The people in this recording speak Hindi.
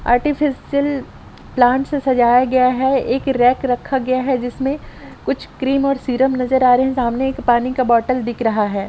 आर्टिफ़िशियल प्लांट से सजाया गया है एक रैक रखा गया है जिसमे कुछ क्रीम और सीरम नजर आ रहे है सामने एक पानी का बोटल दिख रहा है।